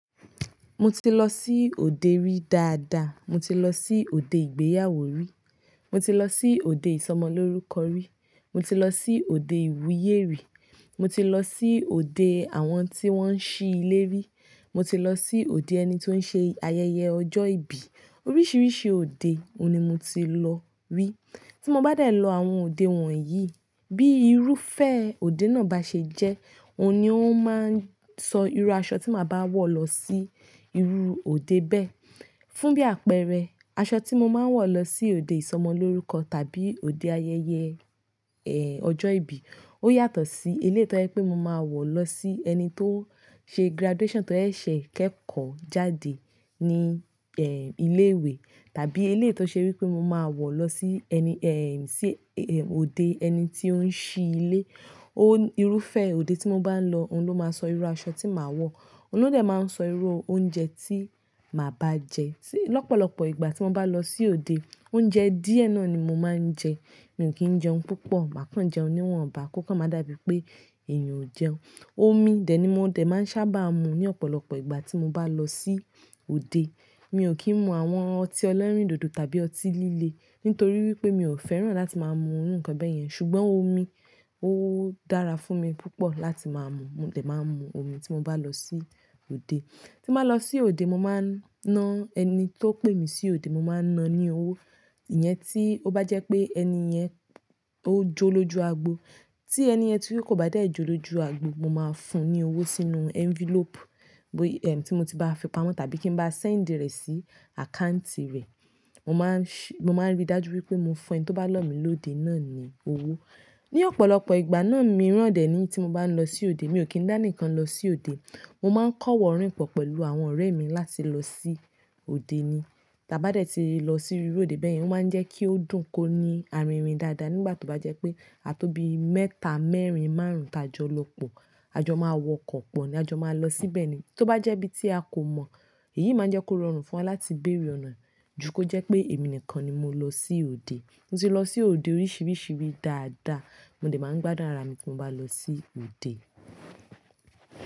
Mo ti lọ sí òde rí dáadáa. Mo ti lọ sí òde ìgbéyàwó rí. Mo ti lọ sí òde ìsọmọlórúkọ rí. Mo ti lọ sí òde ìwúyè rí. Mo ti lọ sí òde àwọn tí wọ́n ń ṣí ilé rí. Mo ti lọ sí òde ẹni tó ń ṣe ayẹyẹ ọjọ́ ìbí. Oríṣiríṣi òde òun ni mo ti lọ rí. Tí mo bá dẹ lọ àwọn òde wọ̀nyí, bí irúfẹ́ òde náà bá ṣe jẹ́, òun ni ó máa ń sọ irú aṣọ tí màá bá wọ̀ lọ sí irú òde bẹ́ẹ̀. Fún bí àpẹẹrẹ, aṣọ tí mo máa ń wọ̀ lọ sí òde ìsọmọlórúkọ tàbí òde ayẹyẹ, ẹ́, ọjọ́ ìbí, ó yàtọ̀ sí eléyìí to jẹ́ pé mo máa wọ̀ lọ sí ẹni tó ṣe graduation tó ẹ̀ ṣẹ̀ kẹ́kọ̀ọ́ jáde ní, ẹ́, ilé ìwé tàbí eléyìí to ṣe wí pé mo máa wọ̀ lọ sí ẹni, ẹ́, sí, ẹ́, òde ẹni tí ó ń ṣí ilé. Ó, irúfẹ́ òde tí mo bá ń lọ, òun ló máa sọ irú aṣọ tí màá wọ̀. Òun ló dẹ̀ máa ń sọ irú oúnjẹ tí màá bá jẹ. Tí lọ́pọ̀lọpọ̀ ìgbà tí mo bá lọ sí òde, oúnjẹ díẹ̀ náà ni mo máa ń jẹ. Mi ò kí ń jẹun púpọ̀, màá kàn jẹun níwọ̀nba kò kàn má dà bíi pé èèyàn ò jẹun. Omi dẹ̀ ni mo dẹ̀ máa ń sábà mu ní ọ̀pọ̀lọpọ̀ ìgbà tí mo bá lọ sí òde. Mi ò kí ń mu àwọn ọtí ẹlẹrindòdò tàbí ọtí líle. Nítorí wípé mi ò fẹ́ràn láti máa mu irú nǹkan bẹ́ẹ̀ yẹn. Ṣùgbọ́n omi ó dára fún mi púpọ̀ láti máa mu. Mo dẹ̀ máa ń mu omi tí mo bá lọ sí òde. Tí n ba lọ sí òde, mo máa ń ná ẹni tó pè mí sí òde, mo máa ń ná ní owó. Ìyẹn tí ó bá jẹ́ pé ẹni yẹn ó jó lójú agbo. Tí ẹni yẹn ti kò bá dà ẹ jó lójú agbo, mo máa ń fún un ní owó sínú envelope, bó, ẹ́, tí mo ti bá fi pamọ́ tàbí kí n bá send rẹ̀ sí account rẹ̀. Mo máa ń ṣi-- mo máa ń rí dájú wípé mo fún ẹni tó bá lò mi lóde náà ní owó. Ni ọ̀pọ̀lọpọ̀ ìgbà náà mirán dẹ̀ ní tí mo bá ń lọ sí òde, mi ò kí ń dá nikan lọ sí òde. Mo máa ń kọ́wọ̀ọ́ rìn pọ̀ pẹ̀lú àwọn ọ̀rẹ́ mi láti lọ sí òde ni. Tí a bá dẹ̀ ti lọ sí irú òde bẹ́ẹ̀ yẹn, o máa ń jẹ́ kí ó dùn ko ní arìnrìn dáadáa nígbà tó bá jẹ́ pé a tóbi mẹ́ta, mẹ́rin, márùn-ún ti a jọ lọ pọ̀. A jọ máa wọkọ̀ pọ̀ ni. A jọ máa lọ síbẹ̀ ni. Tí ó bá jẹ́ ibi tí a kò mọ̀, èyí máa n jẹ́ kó rọrùn fún wa láti béèrè ọ̀nà. Jú kọ jẹ́ pé èmi nìkan ni mo lọ sí òde. Mo ti lọ sí òde oríṣiríṣi rí dáadáa. Mo dẹ̀ máa ń gbádùn ara mi tí mo bá lọ sí òde.